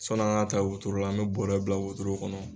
Sɔnni an ka ta wotoro la an mɛ bɔɔrɛ bila wotoro kɔnɔ.